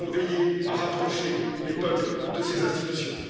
Nous devons veiller à rapprocher les peuples de ces institutions.